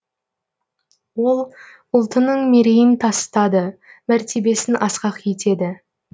ол ұлтының мерейін тасытады мәртебесін асқақ етеді